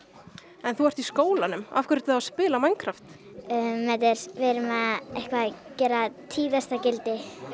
en þú ert í skólanum af hverju ertu þá að spila Minecraft við erum að gera tíðasta gildi með